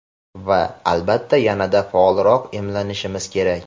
Va, albatta, yanada faolroq emlanishimiz kerak.